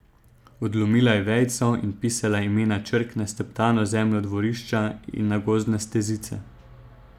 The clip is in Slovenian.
Odlomila je vejico in pisala imena črk na steptano zemljo dvorišča in na gozdne stezice.